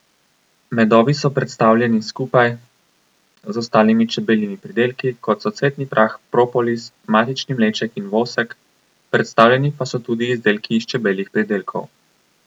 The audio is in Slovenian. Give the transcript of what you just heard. Medovi so predstavljeni skupaj z ostalimi čebeljimi pridelki, kot so cvetni prah, propolis, matični mleček in vosek, predstavljeni pa so tudi izdelki iz čebeljih pridelkov.